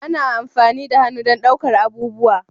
Ana amfani da hannu don ɗaukar abubuwa